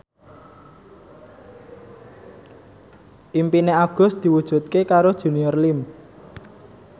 impine Agus diwujudke karo Junior Liem